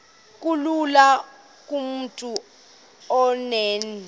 kulula kumntu onen